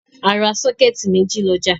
A ra sọ́kẹ́tì méjì lọ́jà.